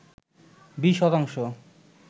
২০ শতাংশ